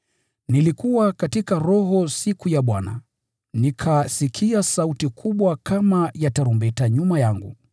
Katika siku ya Bwana, nilikuwa katika Roho na nikasikia sauti kubwa kama ya baragumu nyuma yangu